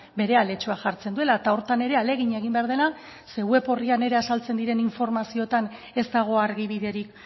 bere aletxoa jartzen duela eta horretan ere ahalegin egin behar dela zeren web orrian ere azaltzen diren informazioetan ez dago argibiderik